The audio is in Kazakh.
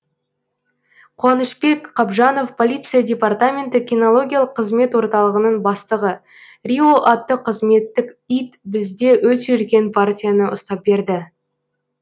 қуанышбек қабжанов полиция департаменті кинологиялық қызмет орталығының бастығы рио атты қызметтік ит бізде өте үлкен партияны ұстап берді